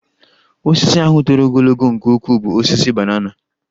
Osisi ahụ toro ogologo nke ukwuu ịbụ osisi banana